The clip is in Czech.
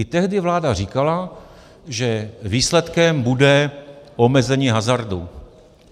I tehdy vláda říkala, že výsledkem bude omezení hazardu.